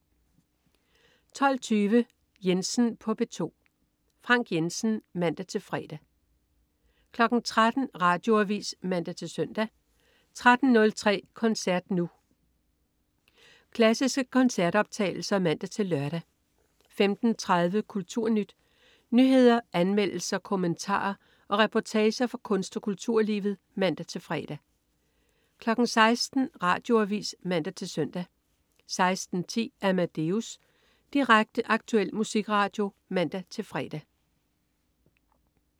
12.20 Jensen på P2. Frank Jensen (man-fre) 13.00 Radioavis (man-søn) 13.03 Koncert Nu. Klassiske koncertoptagelser (man-lør) 15.30 KulturNyt. Nyheder, anmeldelser, kommentarer og reportager fra kunst- og kulturlivet (man-fre) 16.00 Radioavis (man-søn) 16.10 Amadeus. Direkte, aktuel musikradio (man-fre)